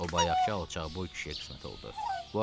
O bayaqkı cabboy kişiyə qismət oldu.